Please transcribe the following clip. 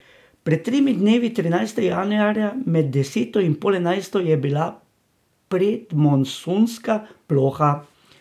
Pred tremi dnevi, trinajstega januarja, med deseto in pol enajsto je bila predmonsunska ploha.